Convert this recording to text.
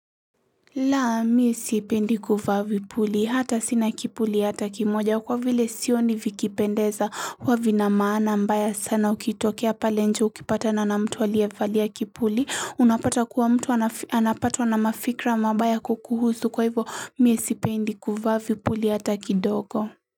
La miye sipendi kuvaa vipuli hata sina kipuli hata kimoja kwa vile sioni vikipendeza huwa vina maana mbaya sana ukitokea pale nje ukipata na na mtu aliyevalia kipuli unapata kuwa mtu anapatwa na mafikra mabaya kukuhusu kwa hivo miye sipendi kuvaa vipuli hata kidogo.